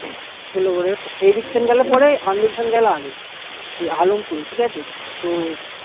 ধুলো গড়ের এইদিক থেকে গেলে পরে আন্দুল থেকে গেলে আগে এই আলম পুরে ঠিক আছে তো